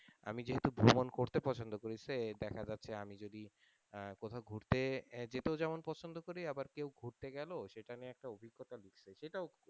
আমি যেহেতু ভ্রমন করতে পছন্দ করি সে দেখা যাচ্ছে আমি যদি কোথাও ঘুরতে জেতেও যেমন পছন্দ করি আবার কেউ ঘুরতে গেলো সেটা নিয়ে একটা অভিজ্ঞতা লিখছে সেটাও,